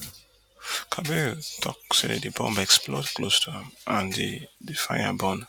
kabir tok say di bomb explode close to am and di di fire burn